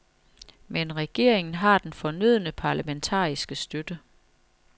Men regeringen har den fornødne parlamentariske støtte.